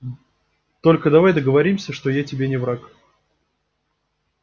только давай договоримся что я тебе не враг